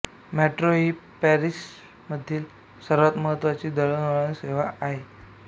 metro ही पॅरिसमधील सर्वांत महत्त्वाची दळणवळण सेवा आहे